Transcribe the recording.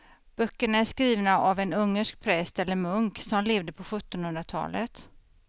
Böckerna är skrivna av en ungersk präst eller munk som levde på sjuttonhundratalet.